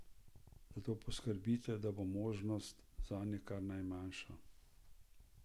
Zato poskrbite, da bo možnost zanje kar najmanjša.